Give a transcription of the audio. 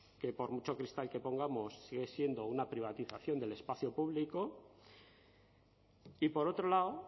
que por mucho cristal que pongamos sigue siendo una privatización del espacio público y por otro lado